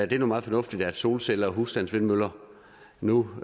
det er meget fornuftigt at solceller og husstandsvindmøller nu